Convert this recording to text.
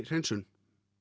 hreinsun